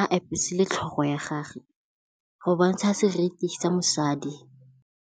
a apese le tlhogo ya gage go bontsha seriti sa mosadi.